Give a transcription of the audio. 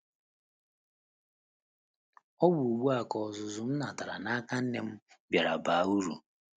Ọ bụ ugbu a ka ọzụzụ m natara n’aka nne m bịara baa uru.